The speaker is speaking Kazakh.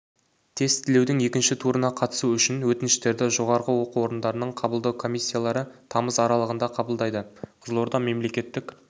тестілеудің екінші турына қатысу үшін өтініштерді жоғарғы оқу орындарының қабылдау комиссиялары тамыз аралығында қабылдайды қызылорда мемлекеттік